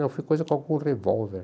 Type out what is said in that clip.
Não, foi coisa com algum revólver.